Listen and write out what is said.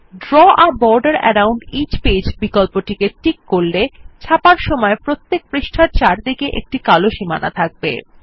draw a border around each page বিকল্পে tick করলে ছাপার সময় প্রত্যেক পৃষ্ঠার চারদিকে একটি কালো সীমানা থাকবে